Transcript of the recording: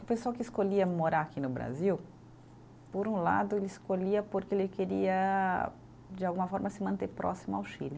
O pessoal que escolhia morar aqui no Brasil, por um lado, ele escolhia porque ele queria, de alguma forma, se manter próximo ao Chile.